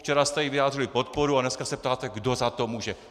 Včera jste jí vyjádřili podporu a dneska se ptáte, kdo za to může.